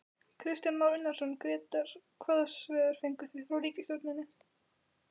Kristján Már Unnarsson, Grétar hvaða svör fenguð þið frá ríkisstjórninni?